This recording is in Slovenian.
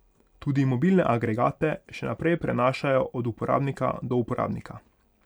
Tudi mobilne agregate še naprej prenašajo od uporabnika do uporabnika.